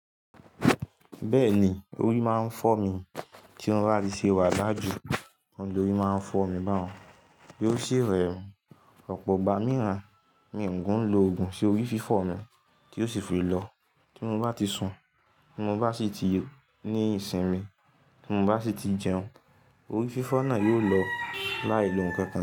Bẹ́ẹ̀ni, orí máa ń fọ́ mi tí mo bá ti ṣe wà lájú, ọ̀nà tí orí máa ń fọ́ mi bá un, tí ó ṣe rẹmi. Ọ̀pọ̀ ìgbà mìíràn mi ki lo òògùn ṣe orí fífọ́ mi tí ó sì fi lọ. Tí mo bá ti sun, tí mo bá sì ti ní ìsìn mi, tí mo bá sì ti jẹun, orí fífọ́ náà yóò lọ láì lo ohunkóhun.